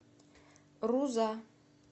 руза